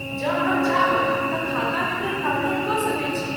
जँ अहाँ चाहब तऽ खाता विवरण डाउनलोड कऽ सकैत छी।